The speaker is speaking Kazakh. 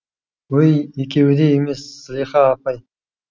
өй екеуі де емес зылиха апай